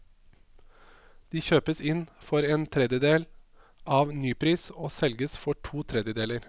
De kjøpes inn for en tredjedel av nypris og selges for to tredjedeler.